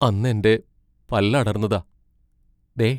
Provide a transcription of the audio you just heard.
അന്നെന്റെ പല്ലടർന്നതാ, ദേ.